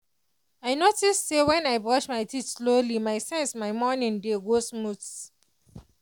i notice say when i brush my teeth slowly with sense my morning dey go smooth.